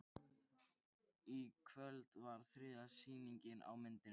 Í kvöld var þriðja sýning á myndinni